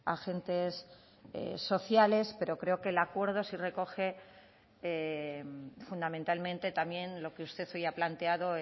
agentes sociales pero creo que el acuerdo sí recoge fundamentalmente también lo que usted hoy ha planteado